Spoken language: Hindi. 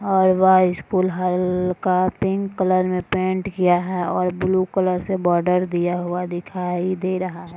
और वह स्कूल हल्का पिंक कलर में पेंट किया है और ब्लू कलर से बॉर्डर दिया हुआ दिखाई दे रहा है।